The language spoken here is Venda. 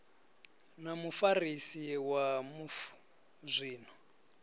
na mufarisi wa mufu zwino